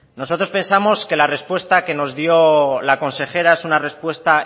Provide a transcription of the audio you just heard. nosotros pensamos que la respuesta que nos dio la consejera es una respuesta